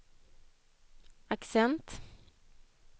accent